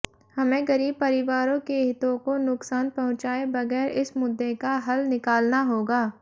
हमें गरीब परिवारों के हितों को नुकसान पहुंचाए बगैर इस मुद्दे का हल निकालना होगा